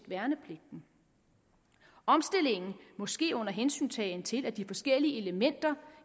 værnepligten omstillingen må ske under hensyntagen til at de forskellige elementer